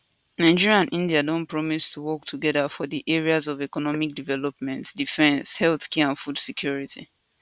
nigeria and india don promise to work togeda for di areas of economic development defence healthcare and food security